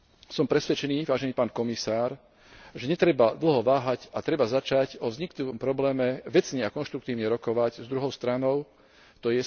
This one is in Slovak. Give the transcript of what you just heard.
Som presvedčený, vážený pán komisár, že netreba dlho váhať a že treba začať o vzniknutom probléme vecne a konštruktívne rokovať s druhou stranou, t.